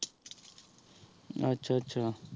ਆਚਾ ਆਚਾ